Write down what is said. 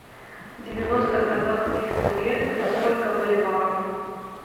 девяносто казахских тенге это сколько боливаров